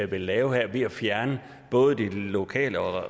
vil lave ved at fjerne både det lokale og